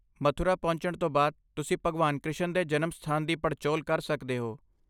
ਮਥੁਰਾ ਪਹੁੰਚਣ ਤੋਂ ਬਾਅਦ, ਤੁਸੀਂ ਭਗਵਾਨ ਕ੍ਰਿਸ਼ਨ ਦੇ ਜਨਮ ਸਥਾਨ ਦੀ ਪੜਚੋਲ ਕਰ ਸਕਦੇ ਹੋ।